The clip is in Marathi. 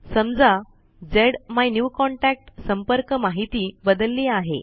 समजा झ्मायन्यूकॉन्टॅक्ट संपर्क माहिती बदलली आहे